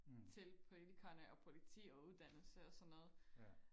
til politikerne og politi og uddannelse og sådan noget